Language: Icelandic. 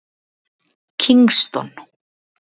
Kingston